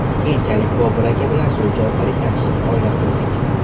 Keyinchalik Bobur aka bilan sovchi orqali tanishib, oila qurdik.